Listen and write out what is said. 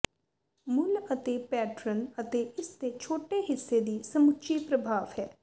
ਮੁੱਲ ਅਤੇ ਪੈਟਰਨ ਅਤੇ ਇਸ ਦੇ ਛੋਟੇ ਹਿੱਸੇ ਦੀ ਸਮੁੱਚੀ ਪ੍ਰਭਾਵ ਹੈ